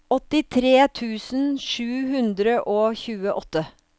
åttitre tusen sju hundre og tjueåtte